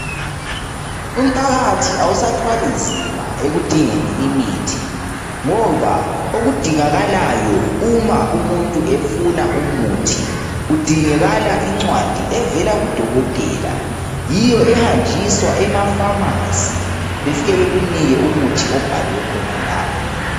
Umphakathi awusathwali nzima ekudingeni imuthi okudingakalayo uma umuntu efuna umuthi kudingakala incwadi evela kudokotela yiyo ehanjiswa ema Pharmacybefike bekunike umuthi obhalwe khona lapho